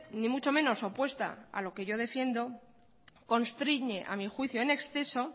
ni mucho menos opuesta a lo que yo defiendo constriñe a mi juicio en exceso